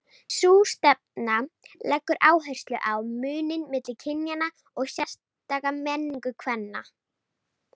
Sú stefna leggur áherslu á muninn milli kynjanna og sérstaka menningu kvenna.